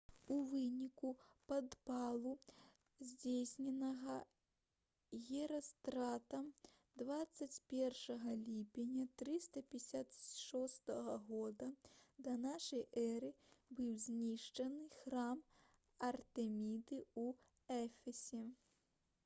у выніку падпалу здзейсненага герастратам 21 ліпеня 356 г да нашай эры быў знішчаны храм артэміды ў эфесе